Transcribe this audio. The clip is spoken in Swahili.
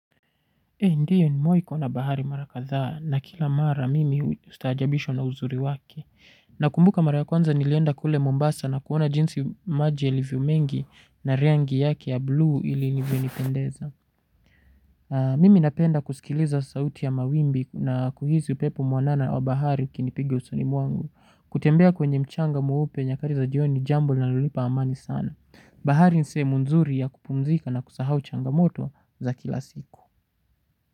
Eeh ndio nimewai kuwa na bahari mara kadhaa na kila mara mimi ustajabishwa na uzuri wake. Nakumbuka mara ya kwanza nilienda kule Mombasa na kuona jinsi maji yalivyo mengi na rangi yake ya blue ilinipendeza. Mimi napenda kusikiliza sauti ya mawimbi na kuhisi upepo mwanana wa bahari ikinipiga usoni mwangu. Kutembea kwenye mchanga mweupe nyakati za jioni ni jambo linalonipa amani sana. Bahari ni sehemu nzuri ya kupumzika na kusahau changamoto za kila siku.